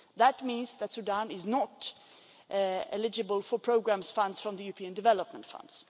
That means that Sudan is not eligible for programme funds from the European Development Fund.